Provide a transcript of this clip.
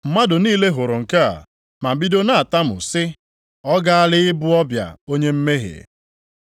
Mmadụ niile hụrụ nke a, ma bido na-atamu sị, “Ọ gaala ịbụ ọbịa onye mmehie.”